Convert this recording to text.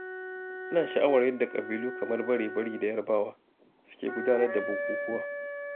Ina sha'awar yadda ƙabilu kamar Bare-bari da Yarbawa suke gudanar da bukukuwa